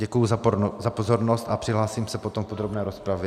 Děkuji za pozornost a přihlásím se potom v podrobné rozpravě.